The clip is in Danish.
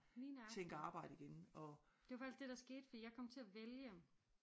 Lige nøjagtig det var faktisk det der skete for jeg kom til at vælge